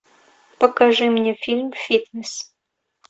покажи мне фильм фитнес